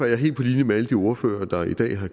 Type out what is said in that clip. jeg helt på linje med alle de ordførere der i dag har